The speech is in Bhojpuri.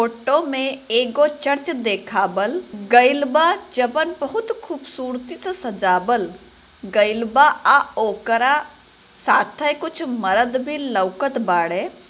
फोटो मे एक चर्च देखाबल गईलबा जपन बहुत खूब सुर्ती से सजाल गइलबा आओकरा साथेए कुछ मर्द भी लौकात बाड़े।